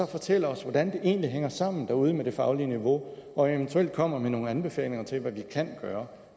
fortælle os hvordan det egentlig hænger sammen derude med det faglige niveau og eventuelt kommer med nogle anbefalinger til hvad vi kan gøre